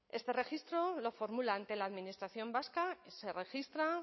este registro lo formula ante la administración vasca se registra